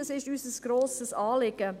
es ist uns ein grosses Anliegen.